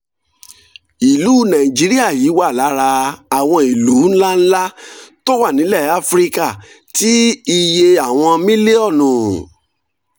ìlú nàìjíríà yìí wà lára àwọn ìlú ńláńlá tó tó wà nílẹ̀ áfíríkà tí iye àwọn mílíọ̀nù